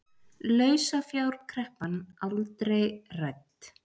Lausafjárkreppan aldrei rædd